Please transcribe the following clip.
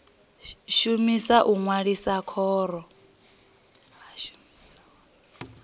vhashumi u ṅwalisa khoro ya